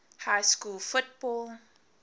high school football